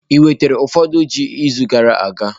Ewetara ụfọdụ ji izu gara aga?